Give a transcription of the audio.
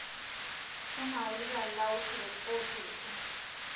Keinaurita laturok ooturusho